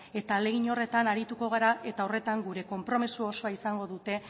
eta horretan arituko gara eta horretan gure konpromiso osoa izango dute